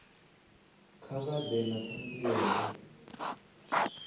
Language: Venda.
kha vha ḓe na ṱhanziela